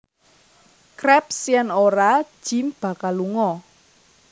Krabs yen ora Jim bakal lunga